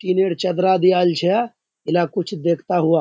तीन ऐर चदरा दियाइल छे इला कुछ देखता हुआ।